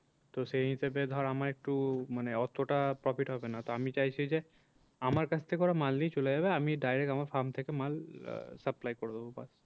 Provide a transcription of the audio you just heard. তো সেই হিসাবে ধর আমার একটু মানে এতটা profit হবে না তো আমি চাইছি যে আমার কাছ থেকে ওরা মাল নিয়ে চলে যাবে আমি direct আমার farm থেকে মাল আহ supply করে দেবো ব্যাস।